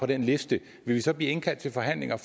den liste vil vi så blive indkaldt til forhandlinger